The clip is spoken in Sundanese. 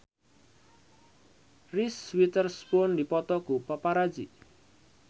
Reese Witherspoon dipoto ku paparazi